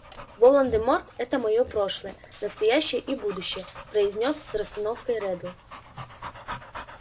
волан-де-морт это моё прошлое настоящее и будущее произнёс с расстановкой реддл